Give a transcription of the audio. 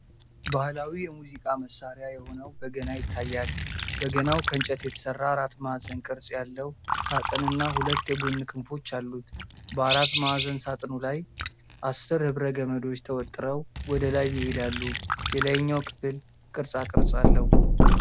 ባህላዊ የሙዚቃ መሣሪያ የሆነው በገና ይታያል። በገናው ከእንጨት የተሰራ አራት ማዕዘን ቅርጽ ያለው ሳጥንና ሁለት የጎን ክንፎች አሉት። በአራት ማዕዘን ሳጥኑ ላይ አሥር ሕብረ ገመዶች ተወጥረው ወደ ላይ ይሄዳሉ። የላይኛው ክፍል ቅርጻቅርጽ አለው።